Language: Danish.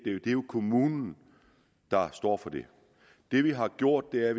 jo kommunen der står for det vi har gjort er